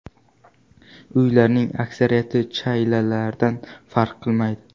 Uylarning aksariyati chaylalardan farq qilmaydi.